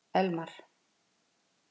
Elmar